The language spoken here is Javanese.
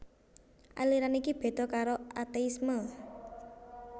Aliran iki béda karo ateisme